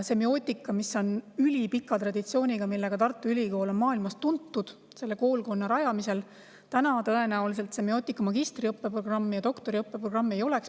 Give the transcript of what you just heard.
Semiootika on ülipika traditsiooniga ja selle koolkonna rajamise poolest on Tartu Ülikool maailmas tuntud, aga tõenäoliselt semiootika magistriõppe ja doktoriõppe programmi siis ei oleks.